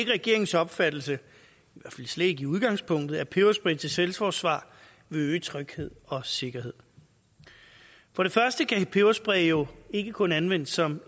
regeringens opfattelse slet ikke i udgangspunktet at peberspray til selvforsvar vil øge tryghed og sikkerhed for det første kan peberspray jo ikke kun anvendes som